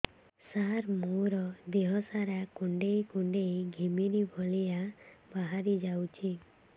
ସାର ମୋର ଦିହ ସାରା କୁଣ୍ଡେଇ କୁଣ୍ଡେଇ ଘିମିରି ଭଳିଆ ବାହାରି ଯାଉଛି